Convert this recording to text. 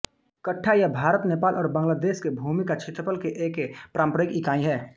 कठ्ठा यह भारत नेपाल और बांग्लादेश में भूमि का क्षेत्रफल की एक पारम्परिक इकाई है